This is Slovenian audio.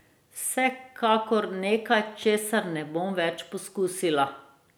Vsekakor nekaj, česar ne bom več pokusila.